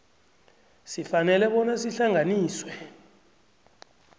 sifanele bona sihlanganiswe